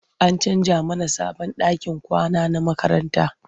An canja mana sabon ɗakin kwana na makaranta.